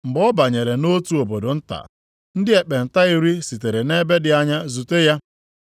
Mgbe ọ banyere nʼotu obodo nta, ndị ekpenta iri sitere nʼebe dị anya zute ya.